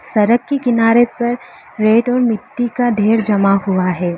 सड़क के किनारे पर रेत और मिट्टी का ढेर जमा हुआ है।